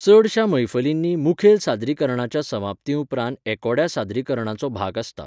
चडशा मैफलींनी मुखेल सादरीकरणाच्या समाप्ती उपरांत एकोड्या सादरीकरणाचो भाग आसता.